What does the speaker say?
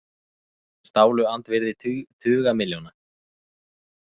Stálu andvirði tuga milljóna